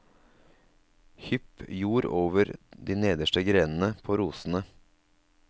Hypp jord over de nederste grenene på rosene.